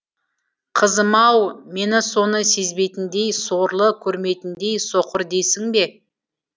қызым ау мені соны сезбейтіндей сорлы көрмейтіндей соқыр дейсің бе